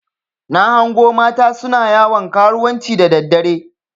Na hango mata suna yawon karuwanci da daddare.